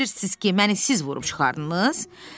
Elə bilirsiz ki, məni siz vurub çıxardınız?